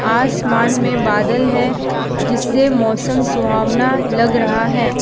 आसमान में बादल है जिससे मौसम सुहावना लग रहा है।